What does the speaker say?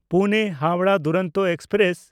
Pune-Howrah Duronto express